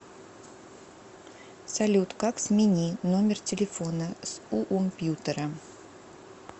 салют как смени номер телефона с уомпьютера